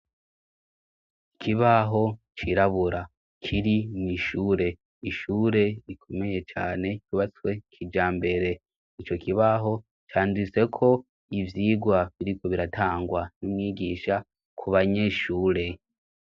Ikibaho cirabura kiri mw'ishure ishure rikomeye cane kubatswe kija mbere ni co kibaho canditseko ivyigwa biriko biratangwa n'umwigisha ku banyeshure.